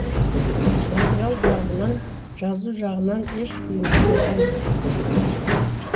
материал жағынан жазу жағынан еш қиындық болған жоқ